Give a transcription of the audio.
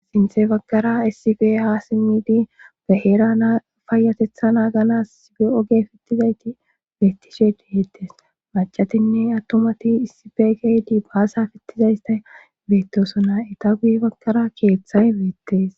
sinthe bagkara issife ha simmidi ba hera naafayatetha naagalas sige oge fittizayti beettishe dihettes macatinne attomati issife geydi baasa fittizaystay beettosona eta guye bagkara keeththay beettees